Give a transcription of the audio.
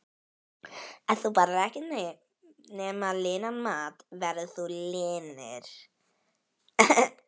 Ef þú borðar ekkert nema linan mat verður þú linur.